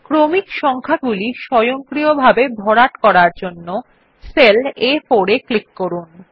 ক্রমিক সংখ্যাগুলি স্বয়ংক্রিয়ভাবে ভরাট করার জন্য সেল আ4 এ ক্লিক করুন